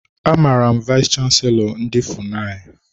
Amara m vayis chansilọ ndị FUNAI.